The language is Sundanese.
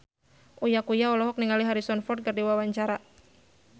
Uya Kuya olohok ningali Harrison Ford keur diwawancara